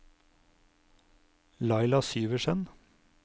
Laila Syversen